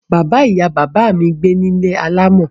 Bàbá ìyà bàbá mi gbé ní ilé alámọ̀.